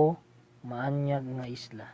o maanyag nga isla